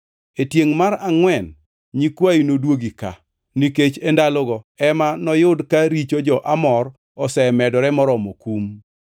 E tiengʼ mar angʼwen nyikwayi nodwogi ka, nikech e ndalogo ema noyud ka richo jo-Amor osemedore moromo kum.”